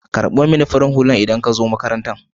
karɓo mani farin Hullan in za ka zo maƙarantan.